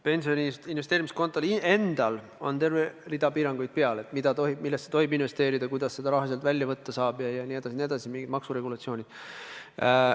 Pensioni investeerimiskontol endal on terve rida piiranguid peal: millesse tohib investeerida, kuidas seda raha välja võtta saab, maksuregulatsioonid jne.